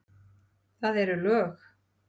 Það eru lög!